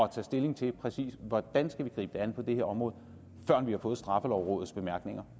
at tage stilling til præcis hvordan vi skal gribe det an på det her område førend vi har fået straffelovrådets bemærkning